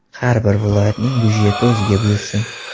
Har bir viloyatning budjeti o‘ziga buyursin.